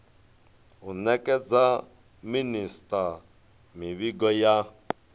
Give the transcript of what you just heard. u nekedza minisita mivhigo ya